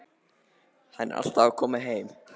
Hann er alltaf að koma heim.